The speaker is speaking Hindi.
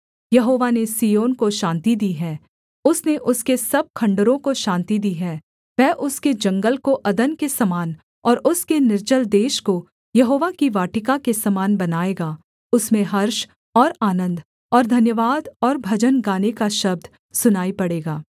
यहोवा ने सिय्योन को शान्ति दी है उसने उसके सब खण्डहरों को शान्ति दी है वह उसके जंगल को अदन के समान और उसके निर्जल देश को यहोवा की वाटिका के समान बनाएगा उसमें हर्ष और आनन्द और धन्यवाद और भजन गाने का शब्द सुनाई पड़ेगा